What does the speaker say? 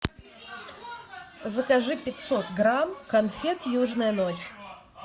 закажи пятьсот грамм конфет южная ночь